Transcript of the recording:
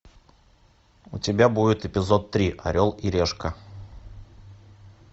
у тебя будет эпизод три орел и решка